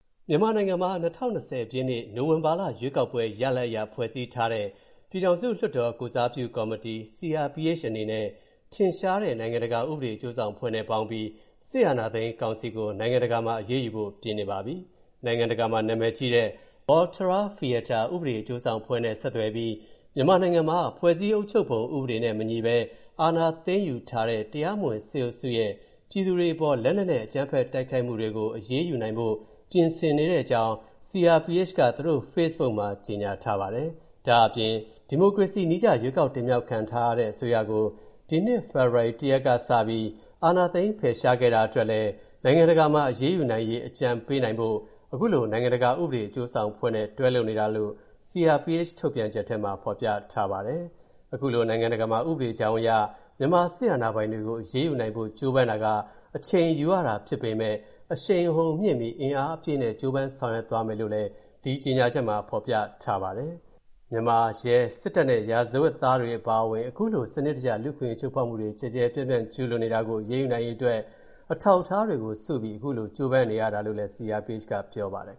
မြန်မာနိုင်ငံမှာ ၂၀၂၀ ပြည့်နှစ်၊ နိုဝင်ဘာလ ရွေးကောက်ပွဲရလဒ်အရ ဖွဲ့စည်းထားတဲ့ ပြည်ထောင်စုလွှတ်တော်ကိုယ်စားပြုကော်မတီ (CRPH) အနေနဲ့ ထင်ရှားတဲ့ နိုင်ငံတကာဥပဒေအကျိုးဆောင်အဖွဲ့နဲ့ပေါင်းပြီး အာဏာသိမ်း စစ်ကောင်စီကို နိုင်ငံတကာမှာ အရေးယူဖို့ပြင်နေပါပြီ။ နိုင်ငံတကာမှာ နာမည်ကြီးတဲ့ Volterra Fietta ဥပဒေအကျိုးဆောင်အဖွဲ့နဲ့ ဆက်သွယ်ပြီး မြန်မာနိုင်ငံမှာ ဖွဲ့စည်းအုပ်ချုပ်ပုံ ဥပဒေနဲ့မညီဘဲ အာဏာသိမ်းယူထားတဲ့ တရားမဝင် စစ်အုပ်စုရဲ့ ပြည်သူတွေအပေါ် လက်နက်နဲ့အကြမ်းဖက်တိုက်ခိုက်မူတွေအပေါ် အရေးယူနိုင်ဖို့ ပြင်ဆင်နေတဲ့အကြောင်း CRPH က သူတို့ဖေ့စ်ဘုတ်မှာ ကြေညာထားပါတယ်။ ဒါ့အပြင် ဒီမိုကရေစီနည်းကျ ရွေးကောက်တင်မြောက်ခံထားရတဲ့ အစိုးရကို ဒီနှစ် ဖေဖော်ဝါရီ ၁ ရက်ကစပြီး စစ်အာဏာသိမ်း ဖယ်ရှားခဲ့တာအတွက်လည်း နိုင်ငံတကာမှာ အရေးယူနိုင်ရေး အကြံပေးနိုင်ဖို့ အခုလို နိုင်ငံတကာ ဥပဒေအကျိုးဆောင်အဖွဲ့နဲ့ တွဲလုပ်နေတာလို့ CRPH ထုတ်ပြန်ချက်ထဲမှာ ဖော်ပြထားပါတယ်။ အခုလို နိုင်ငံတကာမှာ ဥပဒေကြောင်းအရ မြန်မာစစ်အာဏာပိုင်တွေကို အရေးယူနိုင်ဖို့ ကြိုးပမ်းတာက အချိန်ယူရတာဖြစ်ပေမဲ့ အရှိန်အဟုန်မြှင့်ပြီး အင်အားအပြည့်နဲ့ ကြိုးပမ်းဆောင်ရွက်သွားမယ်လို့လည်း ဒီကြေညာချက်မှာဖော်ပြထားပါတယ်။ မြန်မာ ရဲ၊စစ်တပ်နဲ့ ရာဇဝတ်သားတွေအပါအဝင် အခုလို စနစ်တကျ လူ့အခွင့်အရေးချိုးဖောက်မှုတွေ ကျယ်ကျယ်ပြန့်ပြန့် ကျူးလွန်နေတာကို အရေးယူနိုင်ရေးအတွက် အထောက်အထားတွေစုပြီး အခုလိုကြိုးပမ်းရတာလို့လည်း CRPH က ပြောပါတယ်